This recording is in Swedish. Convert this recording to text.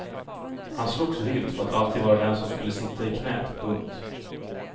Han slogs vilt för att alltid vara den som skulle sitta i knäet. punkt